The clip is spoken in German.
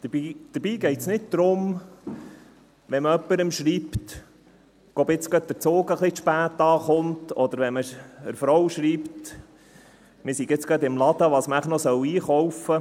Dabei geht es nicht darum, wenn man jemandem schreibt, der Zug komme etwas zu spät an, oder wenn man seiner Frau schreibt, was man noch einkaufen sollte, man sei gerade im Laden.